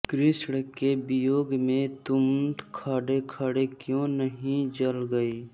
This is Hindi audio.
कृष्ण के वियोग में तुम खड़ेखड़े क्यों नहीं जल गईं